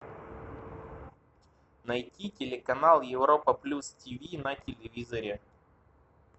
найти телеканал европа плюс тиви на телевизоре